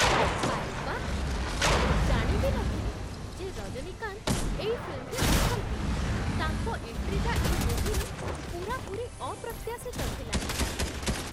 ଆରେ ବାଃ ! ମୁଁ ତ ଜାଣି ବି ନଥିଲି ଯେ ରଜନୀକାନ୍ତ ଏଇ ଫିଲ୍ମରେ ଅଛନ୍ତି । ତାଙ୍କ ଏଣ୍ଟ୍ରିଟା ଏଇ ମୁଭିରେ ପୂରାପୂରି ଅପ୍ରତ୍ୟାଶିତ ଥିଲା ।